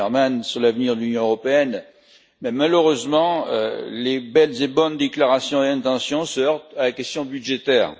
Timmermans sur l'avenir de l'Union européenne, mais malheureusement les belles et bonnes déclarations et intentions se heurtent à la question budgétaire.